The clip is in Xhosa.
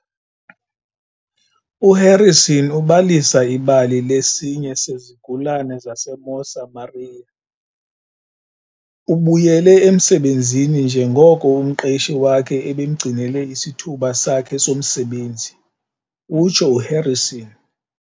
"U-Harrison ubalisa ibali lesinye sezigulana zaseMosa maria. Ubuyele emsebenzini njengoko umqeshi wakhe ebemgcinele isithuba sakhe somsebenzi," utsho uHarrison.